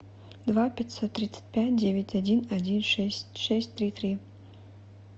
два пятьсот тридцать пять девять один один шесть шесть три три